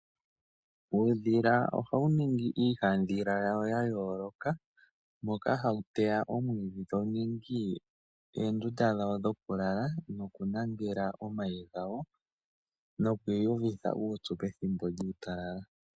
Uudhila ohawu ningi iihandhila yawo yayooloka ,moka hawu teya omwiidhi , tawu ningi oondunda dhawo dhokulala nokulangela omayi gawo , nokwiiyuvitha uupyu pethimbo lyuutalala.